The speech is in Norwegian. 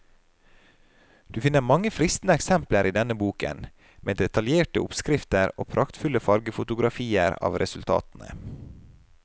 Du finner mange fristende eksempler i denne boken, med detaljerte oppskrifter og praktfulle fargefotografier av resultatene.